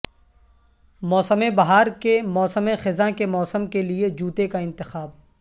موسم بہار کے موسم خزاں کے موسم کے لئے جوتے کا انتخاب